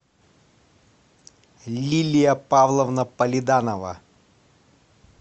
лилия павловна полиданова